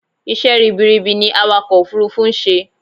Isẹ́ ribiribi ni awakọ̀ òfurufú ń ṣe